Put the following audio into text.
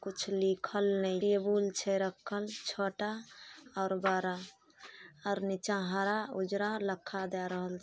कुछ लिखल ने टेबुल छै रखल छोटा और बड़ा और नीचे हरा उजरा लखा दे रहल --